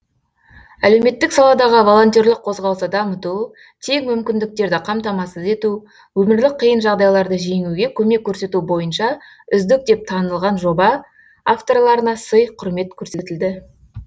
әлеуметтік саладағы волонтерлік қозғалысты дамыту тең мүмкіндіктерді қамтамасыз ету өмірлік қиын жағдайларды жеңуге көмек көрсету бойынша үздік деп танылған жоба авторларына сый құрмет көрсетілді